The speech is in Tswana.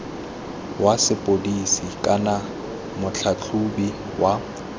wa sepodisi kana motlhatlhaobi wa